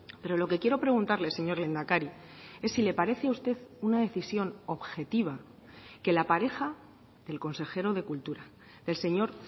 pero lo que quiero preguntarle señor lehendakari es si le parece a usted una decisión objetiva que la pareja del consejero de cultura el señor